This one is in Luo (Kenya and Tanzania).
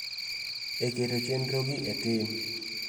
E keto chenro gi e tim